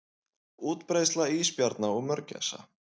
Útbreiðsla ísbjarna og mörgæsa.